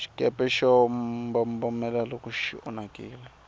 xikepe xa mbombomela loko xi onhakile